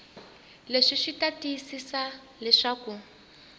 leswi swi ta tiyisisa leswaku